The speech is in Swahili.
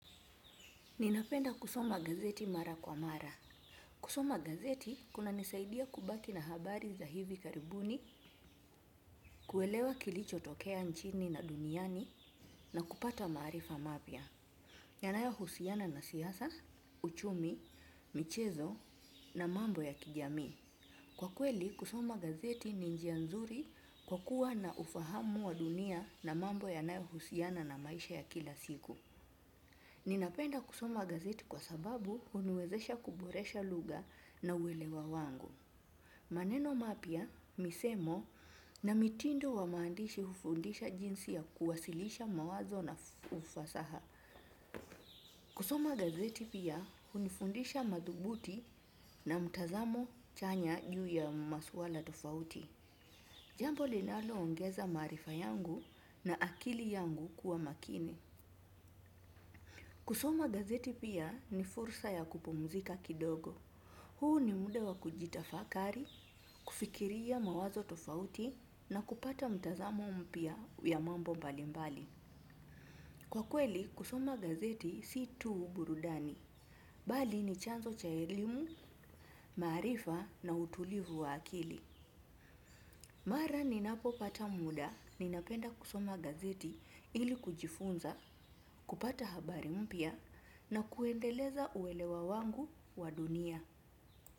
Ninapenda kusoma gazeti mara kwa mara. Kusoma gazeti kun nisaidia kubaki na habari za hivi karibuni, kuelewa kilichotokea nchini na duniani na kupata maarifa mapya. Yanayohusiana na siasa, uchumi, michezo na mambo ya kijamii. Kwa kweli, kusoma gazeti ni njia nzuri kwakuwa na ufahamu wa dunia na mambo yanayohusiana na maisha ya kila siku. Ninapenda kusoma gazeti kwa sababu huniwezesha kuboresha lugha na uelewa wangu. Maneno mapya, misemo na mitindo wa maandishi hunifundisha jinsi ya kuwasilisha mawazo na ufasaha. Kusoma gazeti pia hunifundisha madhubuti na mtazamo chanya juu ya masuala tofauti. Jambo linaloongeza maarifa yangu na akili yangu kuwa makini. Kusoma gazeti pia ni fursa ya kupumuzika kidogo. Huu ni muda wa kujitafakari, kufikiria mawazo tofauti na kupata mtazamo mpya ya mambo mbalimbali. Kwa kweli, kusoma gazeti si tu burudani. Bali ni chanzo cha elimu, maarifa na utulivu wa akili. Mara ninapopata muda, ninapenda kusoma gazeti ili kujifunza, kupata habari mpya na kuendeleza uelewa wangu wa dunia.